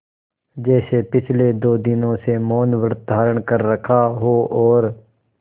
जैसे पिछले दो दिनों से मौनव्रत धारण कर रखा हो और